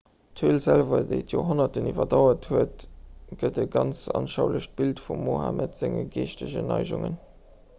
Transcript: d'höl selwer déi d'joerhonnerten iwwerdauert huet gëtt e ganz anschaulecht bild vum mohammed senge geeschtegen neigungen